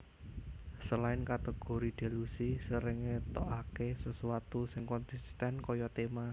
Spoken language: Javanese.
Selain kategori Delusi sering ngetokake sesuatu sing konsisten kaya tema